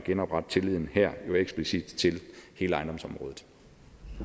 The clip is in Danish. genoprette tilliden eksplicit til hele ejendomsområdet